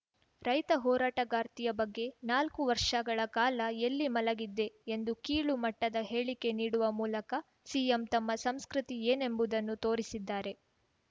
ರೈತ ಹೋರಾಟಗಾರ್ತಿಯ ಬಗ್ಗೆ ನಾಲ್ಕು ವರ್ಷಗಳ ಕಾಲ ಎಲ್ಲಿ ಮಲಗಿದ್ದೇ ಎಂದು ಕೀಳು ಮಟ್ಟದ ಹೇಳಿಕೆ ನೀಡುವ ಮೂಲಕ ಸಿಎಂ ತಮ್ಮ ಸಂಸ್ಕೃತಿ ಏನೆಂಬುದನ್ನು ತೋರಿಸಿದ್ದಾರೆ